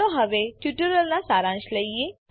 ચાલો હવે ટ્યુટોરીયલનો સારાંશ લઈએ